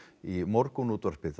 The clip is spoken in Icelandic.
í morgunútvarpið